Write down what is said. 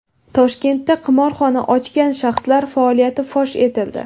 Toshkentda qimorxona ochgan shaxslar faoliyati fosh etildi.